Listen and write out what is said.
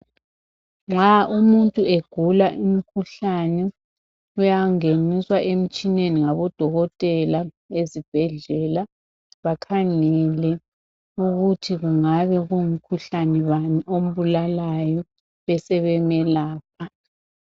Nxa umuntu egula imikhuhlane uyangeniswa emtshineni ngabo dokotela ezibhedlela bakhangele ukuthi kungabe kungumkhuhlane bani ombulalayo besebemelapha.